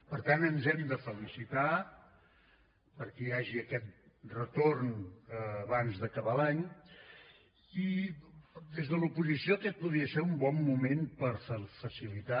per tant ens hem de felicitar perquè hi hagi aquest retorn abans d’acabar l’any i des de l’oposició aquest podria ser un bon moment per facilitar